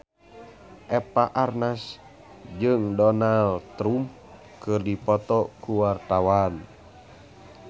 Eva Arnaz jeung Donald Trump keur dipoto ku wartawan